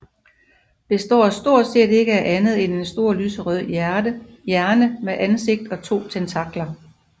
Består stort set ikke af andet end en stor lyserød hjerne med ansigt og to tentakler